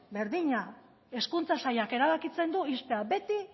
berdina hezkuntza sailak erabakitzen du ixtea beti